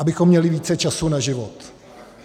Abychom měli více času na život.